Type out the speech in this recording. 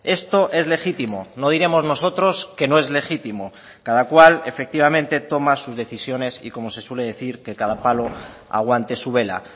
esto es legítimo no diremos nosotros que no es legítimo cada cual efectivamente toma sus decisiones y como se suele decir que cada palo aguante su vela